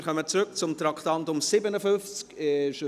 Wir kommen zurück zum Traktandum 57.